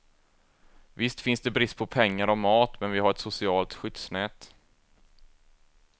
Visst finns det brist på pengar och mat men vi har ett socialt skyddsnät.